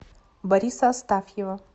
бориса астафьева